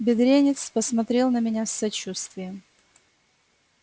бедренец посмотрел на меня с сочувствием